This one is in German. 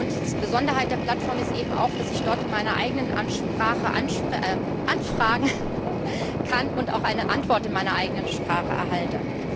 Die Besonderheit der Plattform ist eben auch, dass ich dort in meiner eigenen Sprache anfragen kann und auch eine Antwort in meiner eigenen Sprache erhalte.